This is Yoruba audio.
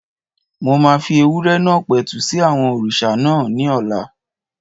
Mo máa fi ewúrẹ́ náà pẹ̀tù sí àwọn òrìṣà náà ní ọ̀la